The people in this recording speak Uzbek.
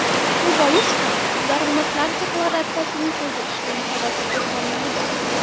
Shu bois ham daromadlar deklaratsiyasini to‘ldirish meni xavotirga solmaydi.